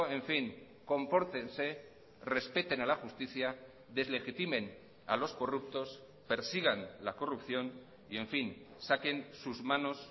en fin compórtense respeten a la justicia deslegitimen a los corruptos persigan la corrupción y en fin saquen sus manos